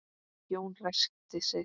Jón ræskti sig.